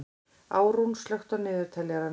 Árún, slökktu á niðurteljaranum.